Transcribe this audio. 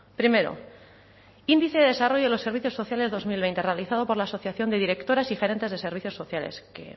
primero índice de desarrollo de los servicios sociales dos mil veinte realizado por la asociación de directoras y gerentes de servicios sociales que